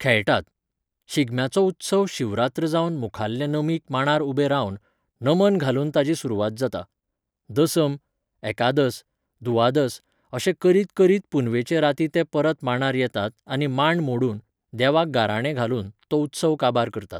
खेळटात. शिगम्याचो उत्सव शिवरात्र जावन मुखाल्ले नमीक मांडार उबें रावन, नमन घालून ताजी सुरवात जाता. दसम, एकादस, दुवादस, अशें करीत करीत पुनवेचे रातीं ते परत मांडार येतात आनी मांड मोडून, देवाक गाराणें घालून, तो उत्सव काबार करतात